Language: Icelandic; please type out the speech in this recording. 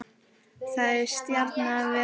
Það er stjanað við hana.